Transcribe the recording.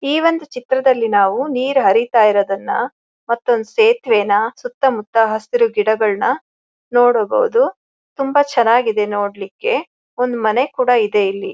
ಈ ಒಂದ್ ಚಿತ್ರದಲ್ಲಿ ನಾವು ನೀರು ಹರಿತಿಯಿರುದನ್ನಮತ್ತ ಒಂದು ಸೇತುವೆನಾ ಸುತ್ತಮುತ್ತ ಹಸಿರು ಗಿಡಗಳನ್ನಾ ನೋಡಬಹುದು . ತುಂಬಾ ಚೆನ್ನಾಗಿದೆ ನೋಡಲಿಕ್ಕೆ ಒಂದು ಮನೆ ಕೂಡ ಇದೆ ಇಲ್ಲಿ.